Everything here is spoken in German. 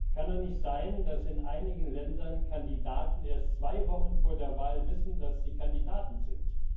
Es kann doch nicht sein, dass in einigen Ländern Kandidaten erst zwei Wochen vor der Wahl wissen, dass sie Kandidaten sind.